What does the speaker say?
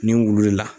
Nin wulu in la